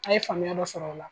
A ye faamuya dɔ sɔrɔ o la.